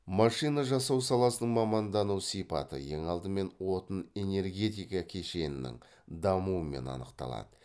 машина жасау саласының мамандану сипаты ең алдымен отын энергетика кешенінің дамуымен анықталады